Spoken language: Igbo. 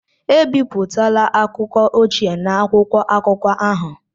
Ebipụtala akụkọ ochie na akwụkwọ akụkọ ahụ!